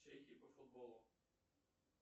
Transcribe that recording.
чехии по футболу